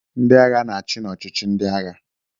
Ndị agha na-achị n'ọchịchị ndị agha.